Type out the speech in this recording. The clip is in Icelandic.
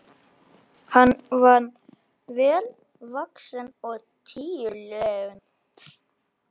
Hann var vel vaxinn og tígulegur.